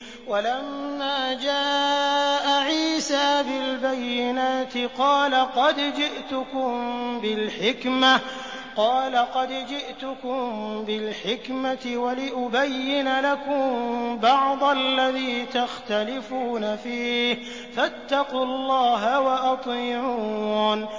وَلَمَّا جَاءَ عِيسَىٰ بِالْبَيِّنَاتِ قَالَ قَدْ جِئْتُكُم بِالْحِكْمَةِ وَلِأُبَيِّنَ لَكُم بَعْضَ الَّذِي تَخْتَلِفُونَ فِيهِ ۖ فَاتَّقُوا اللَّهَ وَأَطِيعُونِ